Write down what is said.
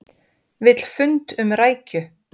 Vill fund um rækju